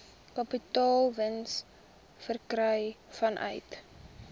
kapitaalwins verkry vanuit